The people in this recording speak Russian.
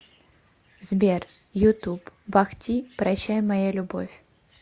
сбер ютуб бах ти прощай моя любовь